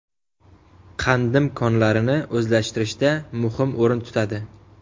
Qandim konlarini o‘zlashtirishda muhim o‘rin tutadi.